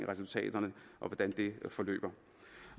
resultaterne af hvordan det forløber